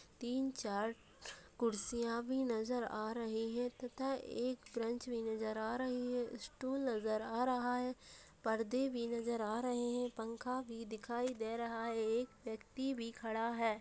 तीन-चार कुर्सियां भी नजर आ रही है तथा एक भी नज़र आ रही है | स्टूल नज़र आ रहा है | पर्दे भी नज़र आ रहे हैं | पंखा भी दिखाई दे रहा है | एक व्यक्ति भी खड़ा है।